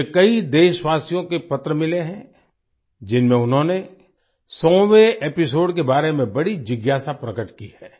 मुझे कई देशवासियों के पत्र मिले हैं जिनमें उन्होंने 100वें एपिसोड के बारे में बड़ी जिज्ञासा प्रकट की है